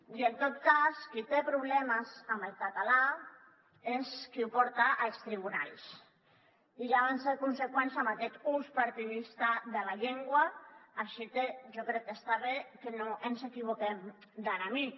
i en tot cas qui té problemes amb el català és qui ho porta als tribunals i ja van ser conseqüents amb aquest ús partidista de la llengua així que jo crec que està bé que no ens equivoquem d’enemic